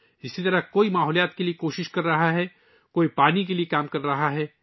اسی طرح کچھ ماحولیات کے لئے کوششیں کر رہے ہیں، کچھ پانی کے لئے کام کر رہے ہیں